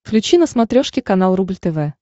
включи на смотрешке канал рубль тв